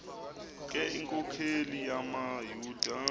ke iinkokeli zamayuda